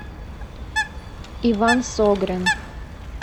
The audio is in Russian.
иван согрин